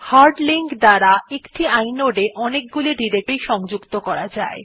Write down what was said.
hard link এর দ্বারা একটি inode এ অনেকগুলি ডিরেকটরি সংযুক্ত করা যায়